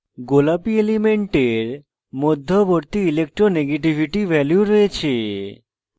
গোলাপী elements মধ্যবর্তী electronegativity value রয়েছে